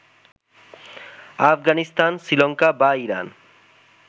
আফগানিস্তান, শ্রীলঙ্কা বা ইরান